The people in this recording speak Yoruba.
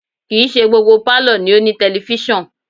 Kì í ṣe gbogbo pálọ̀ ni ó ní tẹlifísàn